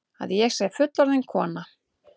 Að ég sé fullorðin kona.